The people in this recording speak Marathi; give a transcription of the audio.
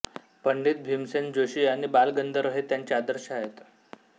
पंडित भीमसेन जोशी आणि बालगंधर्व हे त्यांचे आदर्श आहेत